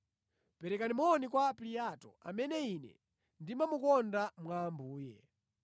Perekani moni kwa Ampliato, amene ine ndimamukonda mwa Ambuye.